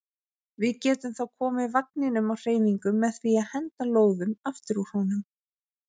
Við getum þá komið vagninum á hreyfingu með því að henda lóðum aftur úr honum.